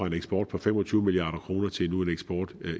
en eksport på fem og tyve milliard kroner til nu en eksport